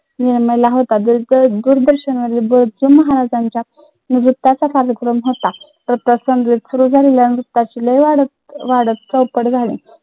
कार्यक्रम होता.